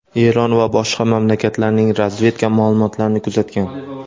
Eron va boshqa mamlakatlarning razvedka ma’lumotlarini kuzatgan.